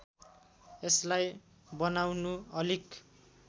यसलाई बनाउनु अलिक